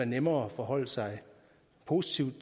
nemmere at forholde sig positivt